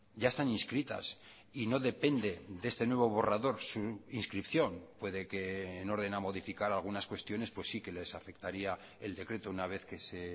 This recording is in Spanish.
ya están inscritas y no depende de este nuevo borrador su inscripción puede que en orden a modificar algunas cuestiones pues sí que les afectaría el decreto una vez que se